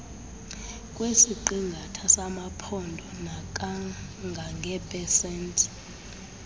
kwesiqingatha samaphondo nakangangeepesenti